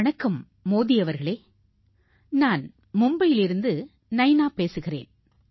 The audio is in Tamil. வணக்கம் மோடி அவர்களே நான் மும்பையிலிருந்து நைனா பேசுகிறேன்